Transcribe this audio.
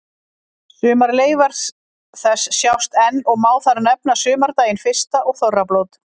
Sumar leifar þess sjást enn og má þar nefna sumardaginn fyrsta og þorrablót.